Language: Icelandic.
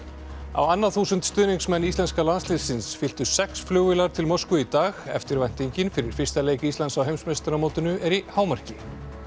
á annað þúsund stuðningsmenn íslenska landsliðsins fylltu sex flugvélar til Moskvu í dag eftirvæntingin fyrir fyrsta leik Íslands á heimsmeistaramótinu er í hámarki